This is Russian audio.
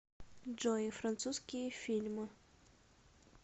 джой французские фильмы